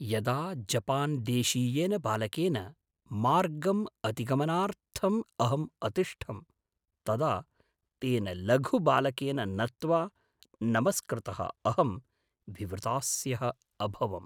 यदा जपान्देशीयेन बालकेन मार्गम् अतिगमनार्थम् अहम् अतिष्ठम्, तदा तेन लघुबालकेन नत्वा नमस्कृतः अहं विवृतास्यः अभवम्।